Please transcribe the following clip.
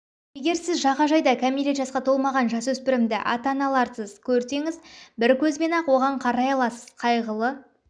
егер сіз жағажайда кәмелет жасқа толмаған жасөспірімді ата-аналарыз көрсеңіз бір көзбен-ақ оған өарай аласыз қайғылы